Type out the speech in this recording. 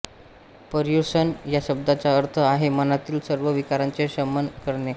पर्युषण या शब्दाचा अर्थ आहे मनातील सर्व विकारांचे शमन करणे